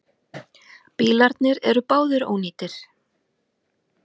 Bílarnir eru báðir ónýtir.